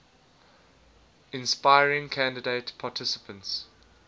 inspiring candidate participants